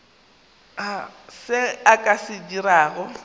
se a ka se dirago